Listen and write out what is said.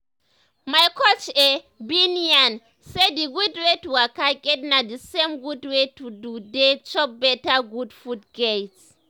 my coach eh bin yarn say d gud wey to waka get na d same gud wey to dey chop better gud food get.